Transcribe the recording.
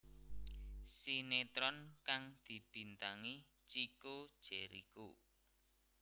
Sinetron kang dibintangi Chico Jericho